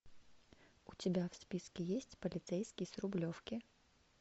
у тебя в списке есть полицейский с рублевки